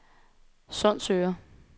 Sundsøre